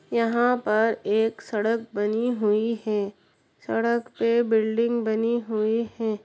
यहाँ पर एक सड़क बनी हुई है। सड़क पे बिल्डिंग बनी हुई है।